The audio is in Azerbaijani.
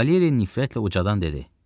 Valeri nifrətlə ucadan dedi: